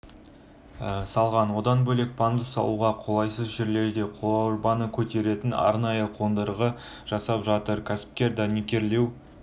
салған одан бөлек пандус салуға қолайсыз жерлерде қоларбаны көтеретін арнайы қондырғы жасап жатыр кәсіпкер дәнекерлеу